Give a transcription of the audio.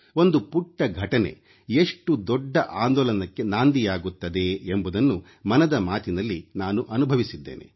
ಒಂದು ಪುಟ್ಟ ಘಟನೆ ಎಷ್ಟು ದೊಡ್ಡ ಆಂದೋಲನಕ್ಕೆ ನಾಂದಿಯಾಗುತ್ತದೆ ಎಂಬುದನ್ನು ಮನದ ಮಾತಿನಲ್ಲಿ ನಾನು ಅನುಭವಿಸಿದ್ದೇನೆ